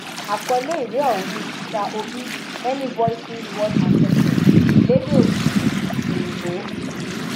àkọlé ìwé ọhún ni peter obimany voices one assessment lédè òyìnbó òyìnbó